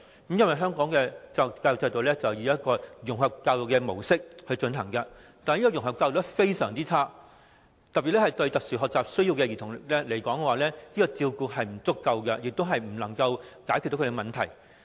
由於現時香港採用的融合教育模式實在做得非常差劣，尤其是對有特殊學習需要的兒童而言，這種照顧並不足夠，亦不能解決他們的問題。